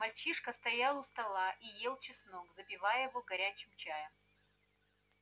мальчишка стоял у стола и ел чеснок запивая его горячим чаем